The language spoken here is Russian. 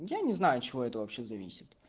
я не знаю от чего это вообще зависит